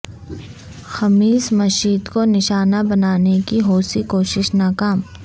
خمیس مشیط کو نشانہ بنانے کی حوثی کوشش ناکام